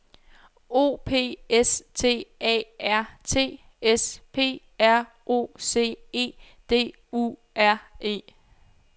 O P S T A R T S P R O C E D U R E